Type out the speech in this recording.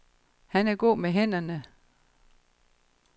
Han er god med hænderne.